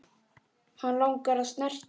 Hann langar að snerta mig.